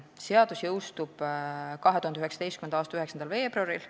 Seadus jõustub 2019. aasta 9. veebruaril.